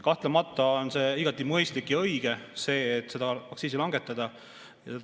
Kahtlemata on see igati mõistlik ja õige seda aktsiisi langetada.